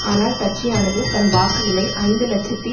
ஆனால் கட்சியானது தன் வாக்குகளை ஐந்து இலட்சத்தி